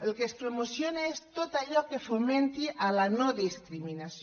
el que es promociona és tot allò que fomenti la no discriminació